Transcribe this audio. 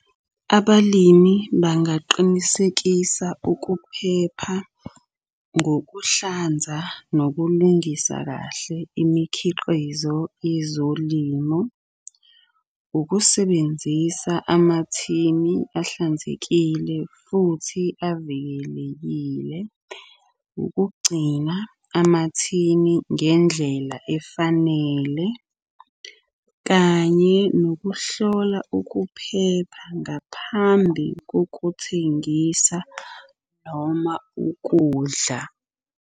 Abalimi bangaqinisekisa ukuphepha ngokuhlanza nokulungisa kahle imikhiqizo yezolimo. Ukusebenzisa amathini ahlanzekile, futhi avikelekile. Ukugcina amathini ngendlela efanele kanye nokuhlola ukuphepha ngaphambi kokuthengisa noma ukudla.